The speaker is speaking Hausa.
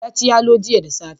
Ya ci yalo jiya da safe.